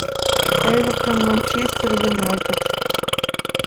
эвертон манчестер юнайтед